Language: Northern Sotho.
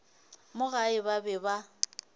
mo gae ba be ba